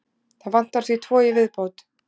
Það vantar því tvo í viðbót.